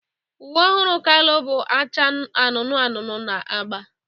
Uwe ọhụrụ Kalu bụ acha anụnụ anụnụ na agba.